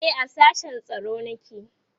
e a sashen tsaro nake